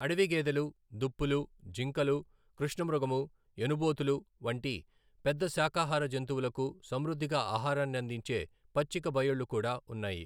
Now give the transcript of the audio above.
అడవి గేదెలు, దుప్పులు, జింకలు, కృష్ణమృగము, ఎనుబోతులు వంటి పెద్ద శాకాహార జంతువులకు సమృద్ధిగా ఆహారాన్ని అందించే పచ్చిక బయళ్ళు కూడా ఉన్నాయి.